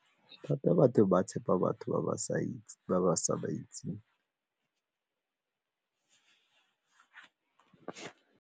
Gape batho ba tshepa batho ba ba sa ba itseng.